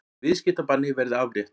Viðskiptabanni verði aflétt